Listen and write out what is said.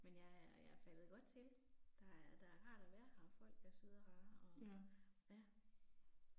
Men jeg er, jeg er faldet godt til. Der er der er rart at være her og folk er søde og rare og, ja